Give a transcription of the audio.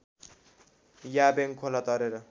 याबेङ खोला तरेर